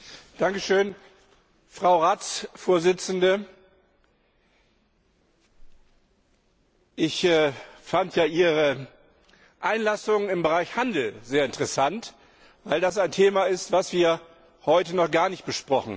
Herr Präsident! Frau Ratsvorsitzende, ich fand ja Ihre Einlassung im Bereich Handel sehr interessant, weil das ein Thema ist, das wir heute noch gar nicht besprochen haben.